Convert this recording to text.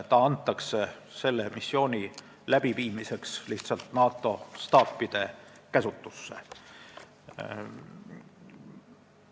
Üksus antakse lihtsalt missiooni läbiviimiseks NATO staapide käsutusse.